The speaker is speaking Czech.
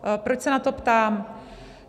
Proč se na to ptám?